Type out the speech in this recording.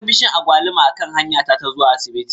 Na ga bishiyar agwaluma a kan hanya ta ta zuwa asibiti